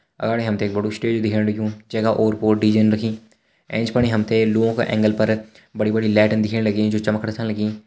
अगाड़ी हमते एक बडु स्टेज दिखेण लग्युं जेका और-पोर डीजे रखीं ऐंच पणी हमते लुआं का एंगल पर बड़ी-बड़ी लाइटन दिखेण लगीं जो चमकणा छन लगीं।